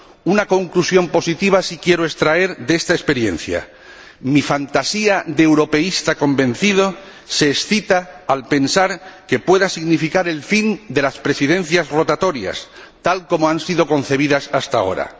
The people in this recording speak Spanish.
Una conclusión positiva sí quiero extraer de esta experiencia mi fantasía de europeísta convencido se excita al pensar que pueda significar el fin de las Presidencias rotatorias tal como han sido concebidas hasta ahora.